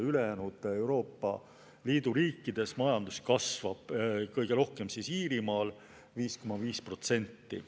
Ülejäänud Euroopa Liidu riikides majandus kasvab, kõige rohkem Iirimaal, 5,5%.